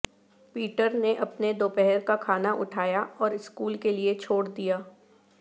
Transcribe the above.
Peter نے اپنے دوپہر کا کھانا اٹھایا اور اسکول کے لئے چھوڑ دیا